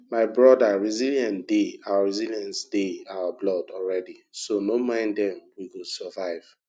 my broda resilience dey our resilience dey our blood already so no mind dem we go survive